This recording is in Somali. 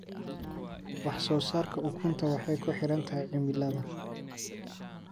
Wax soo saarka ukunta waxay ku xiran tahay cimilada.